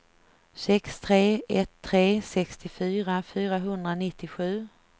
sex tre ett tre sextiofyra fyrahundranittiosju